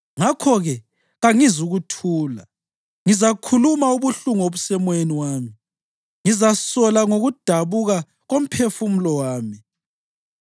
Ngakho-ke kangizukuthula; ngizakhuluma ubuhlungu obusemoyeni wami, ngizasola ngokudabuka komphefumulo wami.